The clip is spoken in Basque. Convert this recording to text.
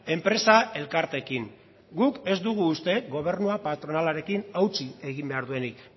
enpresa elkarteekin guk ez dugu uste gobernua patronalarekin hautsi egin behar duenik